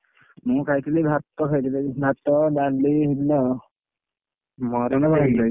ମୁଁ ଖାଇଥିଲି ଭାତ ଖାଇଥିଲି ଭାତ, ଡାଲି ହେଇଥିଲା ଆଉନ।